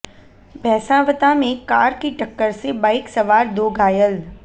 भैसावता में कार की टक्कर से बाइक सवार दो घायल